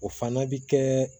O fana bi kɛ